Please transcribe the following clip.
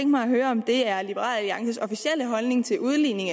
mig at høre om det er liberal alliances officielle holdning til udligning